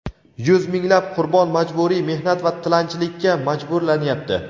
yuz minglab qurbon majburiy mehnat va tilanchilikka majburlanyapti.